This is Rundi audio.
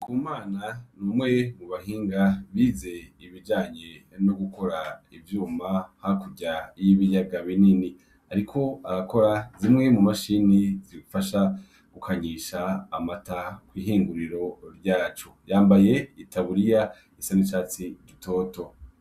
Ku mana niumwe mu bahinga bize ibijanye no gukora ivyuma ha kurya y'ibiyaga binini, ariko abakora zimwe mu mashini zifasha gukanyisha amata kw'ihinguriro ryacu yambaye i taburiya isanicatsi dutoto.